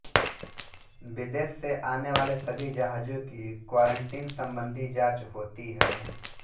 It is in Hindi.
विदेश से आनेवाले सभी जहाजों की क्वारंटीन संबंधी जाँच होती है